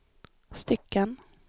stycken